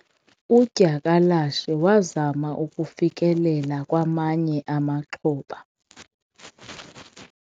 udyakalashe wazama ukufikelela kwamanye amaxhoba